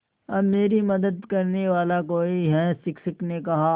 अब मेरी मदद करने वाला कोई है शिक्षक ने कहा